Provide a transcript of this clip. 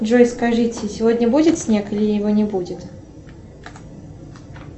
джой скажите сегодня будет снег или его не будет